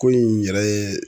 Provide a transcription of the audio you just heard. Ko in yɛrɛ ye